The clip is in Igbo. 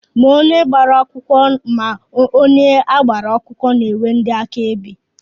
Ma onye gbara akwụkwọ ma onye agbara akwụkwọ na-enwe ndị áká ebe.